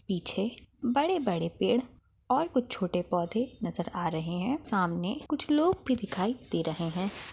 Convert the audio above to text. पीछे बड़े बड़े पेड़ और कुछ छोटे पौधे नजर आ रहे है सामने कुछ लोग भी दिखाई दे रहे है।